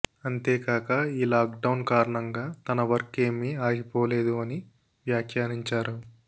అంతేకాక ఈ lockdown కారణంగా తన వర్క్ ఏమి ఆగిపోలేదు అని వ్యాఖ్యానించారు